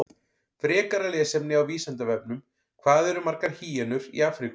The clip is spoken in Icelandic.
Frekara lesefni á Vísindavefnum: Hvað eru margar hýenur í Afríku?